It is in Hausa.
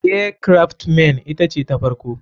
Air craft men ita ce ta farko.